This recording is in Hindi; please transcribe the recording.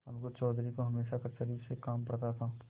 अलगू चौधरी को हमेशा कचहरी से काम पड़ता था